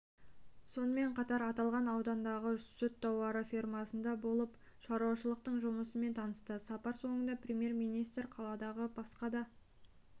сонымен қатар аталған аудандағы сүт-тауарлы фермасында болып шаруашылықтың жұмысымен танысты сапар соңында премьер-министр қаладағы басқа да